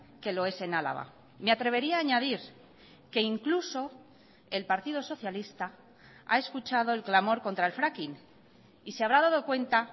que lo es en álava me atrevería a añadir que incluso el partido socialista ha escuchado el clamor contra el fracking y se habrá dado cuenta